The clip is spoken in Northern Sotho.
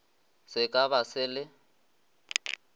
se ka ba se le